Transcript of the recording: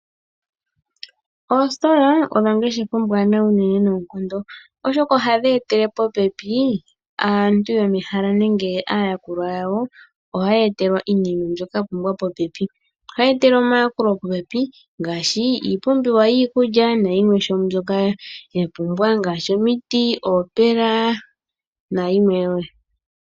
Oositola odho ongeshefa ombwanawa unene noonkondo oshoka ohadhi etele popepi aantu yomehala nenge aayakulwa yawo ohaya etelwa iinima mbyoka ya pumbwa popepi. Ohaya etelwa omayakulo popepi ngaashi iipumbiwa yiikulya nayimwe ishewe mbyoka ya pumbwa ngaashi omiti, oopela nayilwe woo.